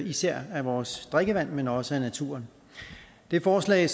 især af vores drikkevand men også af naturen det forslag